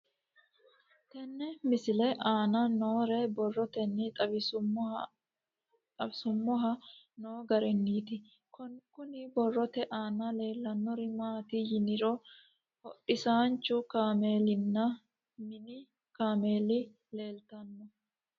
Tenne misile aana noore borroteni xawiseemohu aane noo gariniiti. Kunni borrote aana leelanori maati yiniro hodhisaanchu kaamellinna minni kaamela leeltanoe.